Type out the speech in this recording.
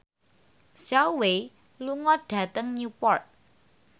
Zhao Wei lunga dhateng Newport